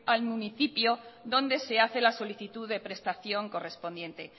al municipio donde se hace la solicitud de prestación correspondiente